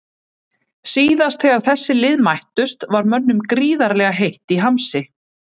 Síðast þegar þessi lið mættust var mönnum gríðarlega heitt í hamsi.